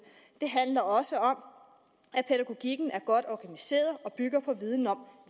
det handler også om at pædagogikken er godt organiseret og bygger på viden om